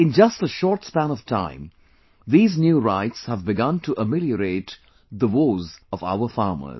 In just a short span of time, these new rights have begun to ameliorate the woes of our farmers